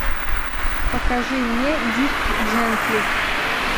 покажи мне дирк джентли